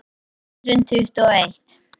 Tvö þúsund tuttugu og eitt